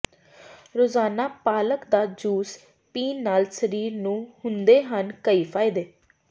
ਰੋਜ਼ਾਨਾ ਪਾਲਕ ਦਾ ਜੂਸ ਪੀਣ ਨਾਲ ਸਰੀਰ ਨੂੰ ਹੁੰਦੇ ਹਨ ਕਈ ਫਾਇਦੇ